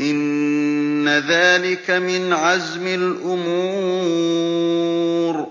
إِنَّ ذَٰلِكَ مِنْ عَزْمِ الْأُمُورِ